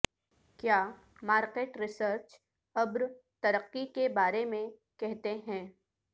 کیا market research ابر ترقی کے بارے میں کہتے ہیں